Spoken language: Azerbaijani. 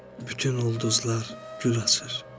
Bütün ulduzlar gül açır.